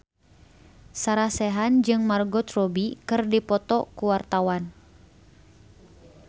Sarah Sechan jeung Margot Robbie keur dipoto ku wartawan